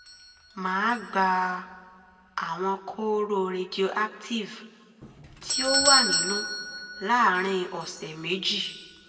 màá gba àwọn kóóró radioactive tí ó wà nínú láàárín ọ̀sẹ̀ méjì